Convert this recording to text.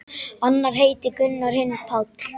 Annar heitir Gunnar, hinn Páll.